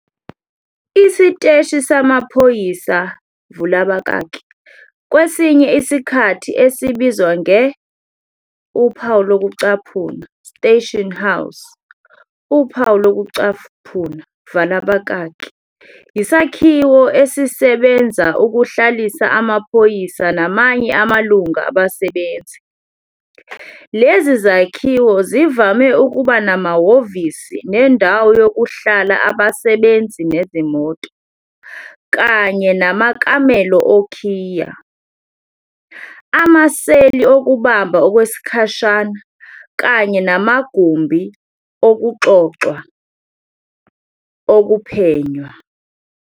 Isiteshi samaphoyisa vula abakaki kwesinye isikhathi esibizwa nge- "station house" vala abakaki, yisakhiwo esisebenza ukuhlalisa amaphoyisa namanye amalungu abasebenzi. Lezi zakhiwo zivame ukuba namahhovisi nendawo yokuhlala abasebenzi nezimoto, kanye namakamelo okhiye, amaseli okubamba okwesikhashana kanye namagumbi okuxoxwa, okuphenywa.